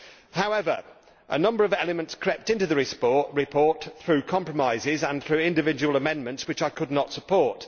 However, a number of elements crept into this report through compromise and through individual amendments which I could not support.